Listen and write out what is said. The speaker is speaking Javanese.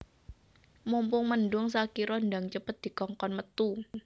Mumpung mendung Shakira ndang cepet dikongkon metu